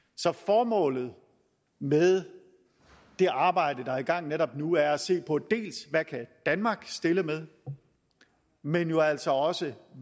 så formålet med det arbejde der er i gang netop nu er at se på hvad danmark kan stille med men jo altså også